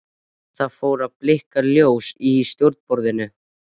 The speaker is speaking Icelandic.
Það fór að blikka ljós í stjórnborðinu.